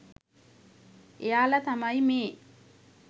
එයාල තමයි මේ